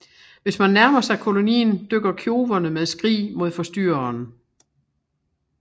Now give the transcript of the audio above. Hvis man nærmer sig kolonien dykker kjoverne med skrig mod forstyrreren